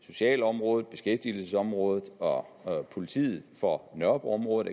socialområdet beskæftigelsesområdet og politiet for nørrebroområdet